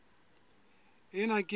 ena ke e nngwe ya